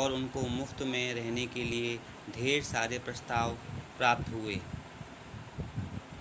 और उनको मुफ्त में रहने के लिए ढेर सारे प्रस्ताव प्राप्त हुए